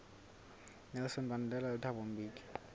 nelson mandela le thabo mbeki